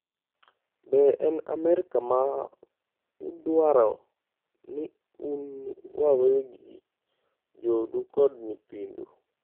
Be en Amerka ma udwaro ni un wawegi, joodu kod nyithindu?